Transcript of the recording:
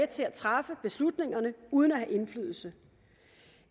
til at træffe beslutningerne uden at have indflydelse